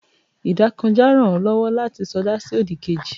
idakojá rán o lowo lati soda si odí kéjí